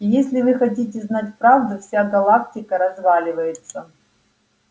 и если вы хотите знать правду вся галактика разваливается